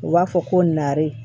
U b'a fɔ ko nari